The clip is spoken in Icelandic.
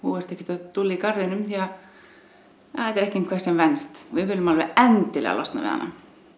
þú ert ekkert að dúlla í garðinum því þetta er ekki eitthvað sem venst við viljum alveg endilega losna við hana